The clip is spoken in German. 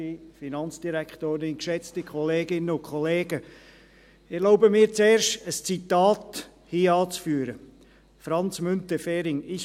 Ich erlaube mir zuerst, ein Zitat von Franz Müntefering anzuführen: